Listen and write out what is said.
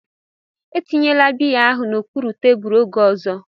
Etinyela biya ahụ n'okpuru tebụl oge ọzọ!